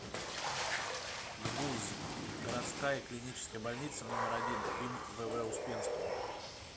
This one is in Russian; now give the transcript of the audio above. гбуз городская клиническая больница номер один им вв успенского